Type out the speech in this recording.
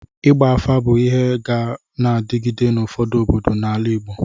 Ịgba afa bụ ịhe ga na-adịgide n'ụfọdụ obodo n'ala Igbo